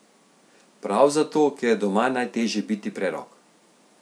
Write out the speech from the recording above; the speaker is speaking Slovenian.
Prav zato, ker je doma najtežje biti prerok.